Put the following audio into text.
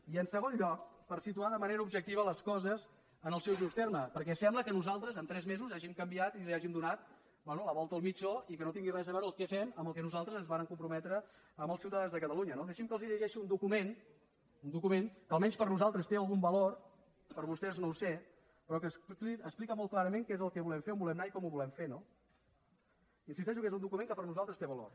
i en segon lloc per situar de manera objectiva les coses en el seu just terme perquè sembla que nosaltres en tres mesos hàgim canviat i hàgim donat bé la volta al mitjó i que no tingui res a veure el que fem amb al que nosaltres ens vàrem comprometre amb els ciutadans de catalunya no deixin que els llegeixi un document un document que almenys per nosaltres té algun valor per vostès no ho sé però que explica molt clarament què és el que volem fer on volem anar i com ho com ho volem fer no insisteixo que és un document que per nosaltres té valor